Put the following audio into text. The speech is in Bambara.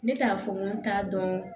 Ne t'a fɔ n ko n t'a dɔn